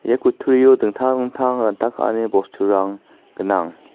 ia kutturio dingtang dingtang ranta ka·ani bosturang gnang.